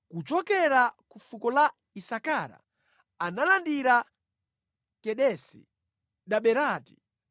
Kuchokera ku fuko la Isakara analandira Kedesi, Daberati,